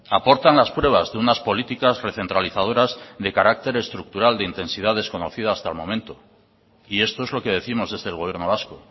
aportan las pruebas de unas políticas recentralizadoras de carácter estructural de intensidad desconocida hasta el momento y esto es lo que décimos desde el gobierno vasco